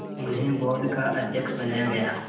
उन्हें बोर्ड का अध्यक्ष बनाया गया